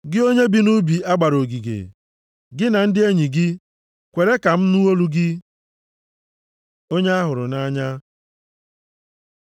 Gị onye bi nʼubi a gbara ogige, gị na ndị enyi gị, kwere ka m nụ olu gị. Onye a hụrụ nʼanya